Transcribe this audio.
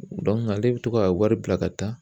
ale bɛ to ka wari bila ka taa.